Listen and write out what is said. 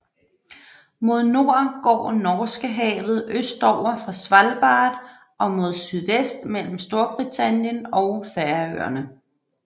Mod nord går Norskehavet østover fra Svalbard og mod sydvest mellem Storbritannien og Færøerne